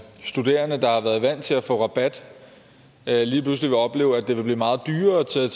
studerende der har været vant til at få rabat lige pludselig vil opleve at det vil blive meget dyrere at tage